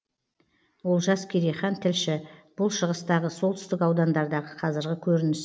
олжас керейхан тілші бұл шығыстағы солтүстік аудандардағы қазіргі көрініс